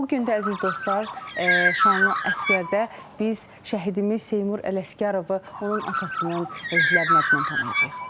Bu gün də, əziz dostlar, şanlı əsgərdə biz şəhidimiz Seymur Ələsgərovu onun atasının, əzizlərinin adından tanıyacağıq.